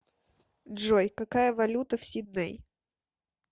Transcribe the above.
джой какая валюта в сидней